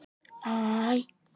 Vika hér og vika þar.